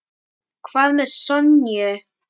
Hvað með Sonju?